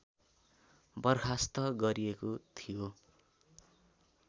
बर्खास्त गरिएको थियो